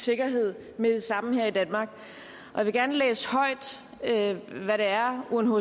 sikkerhed med det samme her i danmark og jeg vil gerne læse højt hvad det er unhcr